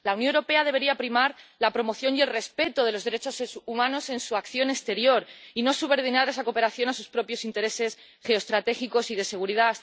La Unión Europea debería primar la promoción y el respeto de los derechos en su acción exterior, y no subordinar esa cooperación a sus propios intereses geoestratégicos y de seguridad.